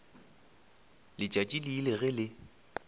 letšatši le ile ge le